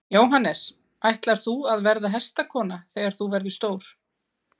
Jóhannes: Ætlar þú að verða hestakona þegar þú verður stór?